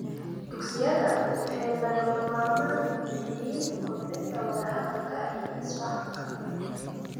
Dugsiyada waxay lagama maarmaan u yihiin kobcinta wadahadalka iyo isfahamka.